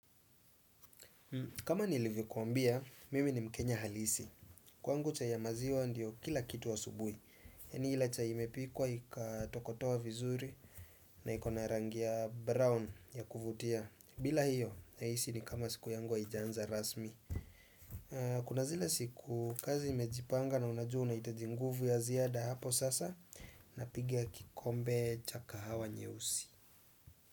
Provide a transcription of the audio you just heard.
Kama nilivyokuambia mimi ni mkenya halisi kwangu chai ya maziwa ndiyo kila kitu asubuhi yaani ile chai imepikwa ikatokotoa vizuri. Na iko na rangi ya brown ya kuvutia bila hiyo nahisi ni kama siku yangu haiijaanza rasmi. Kuna zile siku kazi imejipanga na unajua unahitaji nguvu ya ziada hapo sasa napiga kikombe cha kahawa nyeusi.